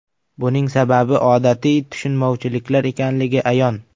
Buning sababi odatiy tushunmovchiliklar ekanligi ayon.